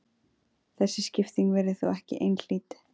Þessi skipting virðist þó ekki einhlít.